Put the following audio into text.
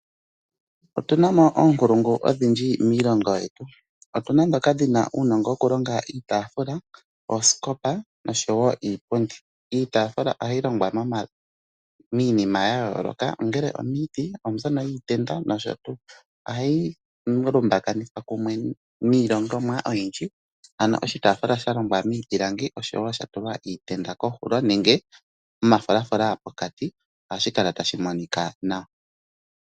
Otu na mo oonkulungu odhindji miilongo yetu. Otu na ndhoka dhi na uunongo wokulonga iitaafula, osikopa nosho wo iipundi. Iitaafula ohayi longwa miinima ya yooloka ngele omiiti, ombyono yiitenda nosho tuu. Ohayi lumbakanithwa kumwe niilongomwa oyindji ano oshitaafula sha longwa miipilangi osho wo sha tulwa iitenda kohulo nenge omafulafula pokati ohashi kala tashi monika nawa.